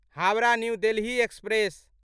Howrah New Delhi express